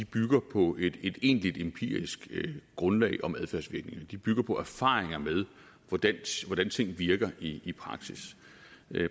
bygger på et egentligt empirisk grundlag om adfærdsvirkninger de bygger på erfaringer med hvordan ting virker i i praksis